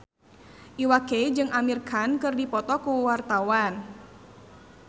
Iwa K jeung Amir Khan keur dipoto ku wartawan